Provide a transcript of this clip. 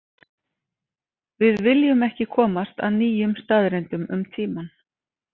Við viljum ekki komast að nýjum staðreyndum um tímann.